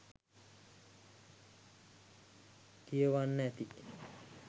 කියවන්න ඇති.